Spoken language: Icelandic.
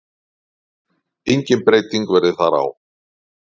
Engin breyting verði þar á.